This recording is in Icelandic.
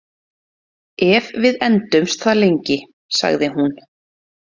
Ef við endumst það lengi, sagði hún.